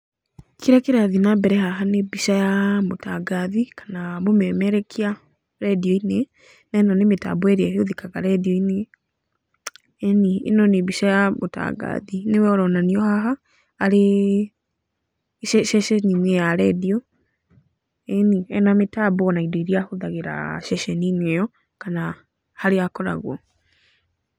Kĩrĩa kĩrathiĩ nambere haha nĩ mbica ya mũtangathi kana mũmerekia rendio-inĩ, na ĩno nĩ mĩtambo ĩrĩa ĩhũthĩkaga radio-inĩ. Ĩni, ĩno nĩ mbica ya mũtangathi, nĩwe ũronanio haha, arĩ ceceni-inĩ ya radio. Ĩni, ena mĩtambo na indo iria ahũthagĩra ceceni-inĩ ĩyo, kana harĩa akoragwo.